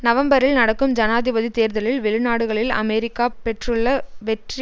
நவம்பரில் நடக்கும் ஜனாதிபதி தேர்தலில் வெளிநாடுகளில் அமெரிக்கா பெற்றுள்ள வெற்றி